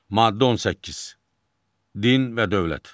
Maddə 18, Din və dövlət.